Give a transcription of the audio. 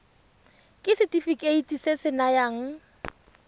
ke setefikeiti se se nayang